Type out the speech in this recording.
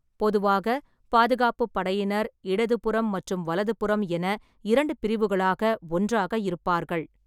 பொதுவாக, பாதுகாப்புப் படையினர், இடதுபுறம் மற்றும் வலதுபுறம் என இரண்டு பிரிவுகளாக ஒன்றாக இருப்பார்கள்.